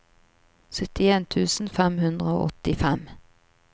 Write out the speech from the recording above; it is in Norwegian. syttien tusen fem hundre og åttifem